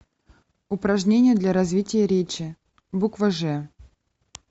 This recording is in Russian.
упражнение для развития речи буква ж